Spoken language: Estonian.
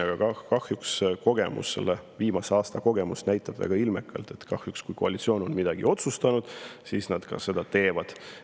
Aga kahjuks viimase aasta kogemus näitab väga ilmekalt, et kui koalitsioon on midagi otsustanud, siis nad ka seda teevad.